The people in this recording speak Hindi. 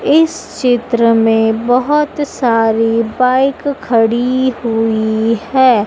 इस चित्र में बहोत सारी बाइक खड़ी हुई हैं।